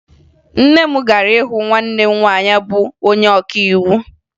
Nne m gara hụ nwanne m nwaanyị bụ onye ọkaiwu